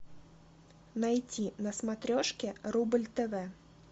найти на смотрешке рубль тв